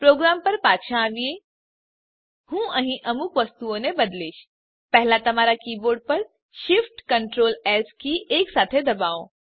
programme પર પાછા આવીએ હું અહીં અમુક વસ્તુઓને બદલીશ પહેલા તમારા કીબોર્ડ પર shiftctrls કી એકસાથે દબાવો